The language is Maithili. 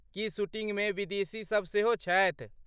की शूटिंगमे विदेशीसब सेहो छथि?